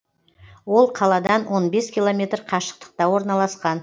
ол қаладан он бес километр қашықтықта орналасқан